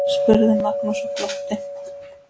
spurði Magnús og glotti.